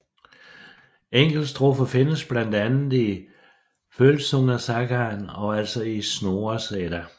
Enkeltstrofer findes blandt andet i Vølsungesagaen og altså i Snorres Edda